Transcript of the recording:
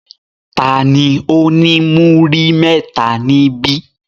Ta ni ó ní múrí mẹ́ta níbí?